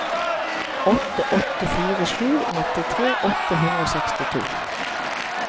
åtte åtte fire sju nittitre åtte hundre og sekstito